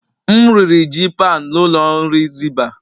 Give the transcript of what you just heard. M riri ji paụnd n'ụlọ nri zibah.